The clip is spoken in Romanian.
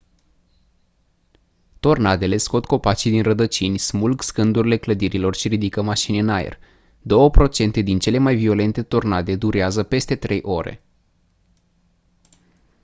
tornadele scot copacii din rădăcini smulg scândurile clădirilor și ridică mașini în aer două procente din cele mai violente tornade durează peste trei ore